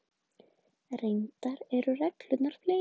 Reyndar eru reglurnar fleiri.